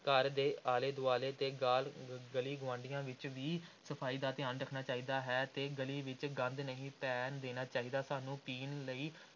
ਘਰ ਦੇ ਆਲੇ ਦੁਆਲੇ ਤੇ ਗਾਲ ਗਲੀ ਗੁਆਂਢੀਆਂ ਵਿਚ ਵੀ ਸਫ਼ਾਈ ਦਾ ਧਿਆਨ ਰੱਖਣਾ ਚਾਹੀਦਾ ਹੈ ਤੇ ਗਲੀ ਵਿਚ ਗੰਦ ਨਹੀਂ ਪੈਣ ਦੇਣਾ ਚਾਹੀਦਾ ਹੈ, ਸਾਨੂੰ ਪੀਣ ਲਈ